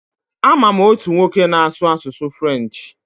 A ma m otu nwoke na-asụ asụsụ furenchi.